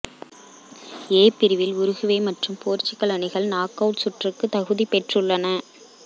ஏ பிரிவில் உருகுவே மற்றும் போர்ச்சுக்கல் அணிகள் நாக் அவுட் சுற்றுக்கு தகுதி பெற்றுள்ளன